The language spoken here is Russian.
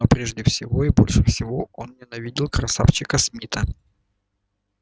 но прежде всего и больше всего он ненавидел красавчика смита